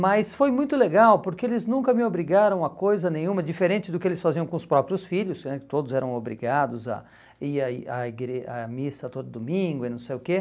Mas foi muito legal, porque eles nunca me obrigaram a coisa nenhuma, diferente do que eles faziam com os próprios filhos né, que todos eram obrigados a ir à i à igre à missa todo domingo e não sei o quê.